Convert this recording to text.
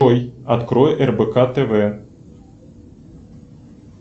джой открой рбк тв